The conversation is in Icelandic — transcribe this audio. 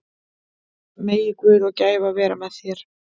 Megi Guð og gæfa vera með þér.